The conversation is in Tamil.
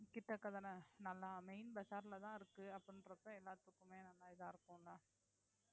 கிட்டக்க தானே நல்லா main bazaar ல தான் இருக்கு அப்படின்றப்ப எல்லாத்துக்குமே நல்லா இதா இருக்கும்ல